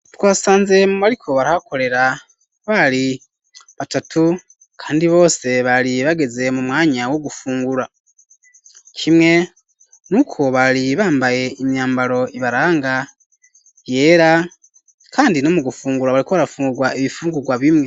Twasanze mu mariko barihakorera bari batatu, kandi bose bari bageze mu mwanya wo gufungura kimwe n' uko bari bambaye imyambaro ibaranga yera, kandi no mu gufungura bariko barafunrwa ibifungurwa bimwe.